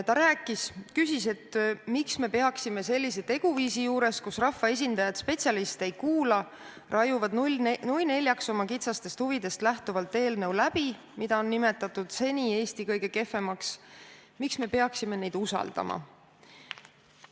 Ta küsis, miks me peaksime sellise teguviisi juures, kus rahvaesindajad spetsialiste ei kuula – raiuvad kas või nui neljaks oma kitsastest huvidest lähtuvalt läbi eelnõu, mida on nimetatud Eesti seni kõige kehvemaks eelnõuks –, neid usaldama.